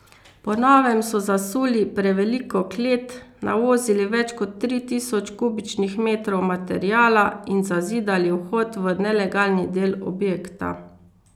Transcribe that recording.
Po novem so zasuli preveliko klet, navozili več kot tri tisoč kubičnih metrov materiala in zazidali vhod v nelegalni del objekta.